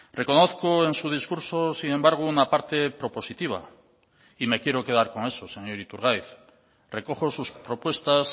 reconozco en su discurso sin embargo una parte propositiva y me quiero quedar con eso señor iturgaiz recojo sus propuestas